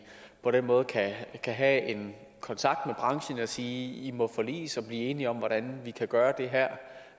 på den måde kan have en kontakt med branchen og sige i må forliges og blive enige om hvordan vi kan gøre det her